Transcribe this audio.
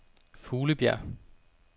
Fuglebjerg